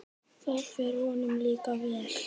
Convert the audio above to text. Það fer honum líka vel.